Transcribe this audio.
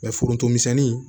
forontomisɛnnin